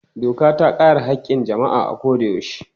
Doka ta kare haƙƙin jama'a a koyaushe.